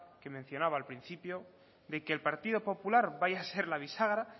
que mencionaba la principio de que el partido popular vaya a ser la bisagra